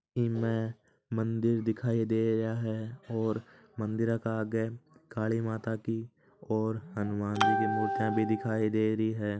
में मंदिर दिखाई दे रहा है और मंदिर का आग काली माता की और हनुमान जी मुर्तिया भी दिखये दे रही है।